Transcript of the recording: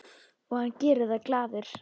Og hann gerir það glaður.